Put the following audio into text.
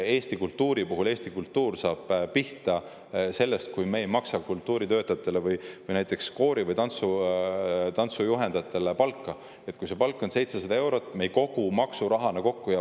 Eesti kultuur saab pihta sellega, kui me ei maksa kultuuritöötajatele või näiteks koori‑ või tantsujuhtidele palka, mis on 700 eurot, aga mida me ei kogu maksurahana kokku.